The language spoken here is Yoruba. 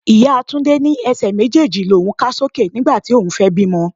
Ìyá Túndé ní Ẹsẹ̀ méjèèjì l'oun ká sókè nígbà tí òun fẹ́ bímọ.